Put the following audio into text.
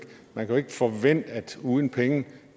forvente at uden penge